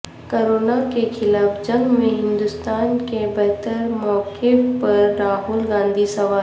corona کیخلاف جنگ میں ہندوستان کے بہتر موقف پر راہول گاندھی سوال